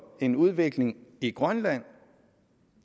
en udvikling i grønland